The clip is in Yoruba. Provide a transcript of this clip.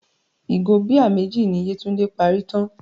Ìgò bíà méjì ni Yétúndé parí tán.